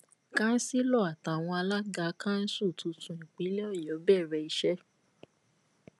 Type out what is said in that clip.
kansilo àtàwọn alága kanṣu tuntun ìpínlẹ ọyọ bẹrẹ iṣẹ